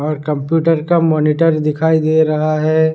और कंप्यूटर का मॉनिटर दिखाई दे रहा है।